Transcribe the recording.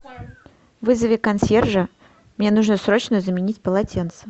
вызови консьержа мне нужно срочно заменить полотенце